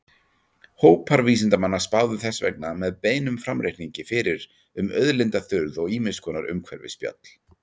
Hópar vísindamanna spáðu þess vegna með beinum framreikningi fyrir um auðlindaþurrð og ýmiss konar umhverfisspjöll.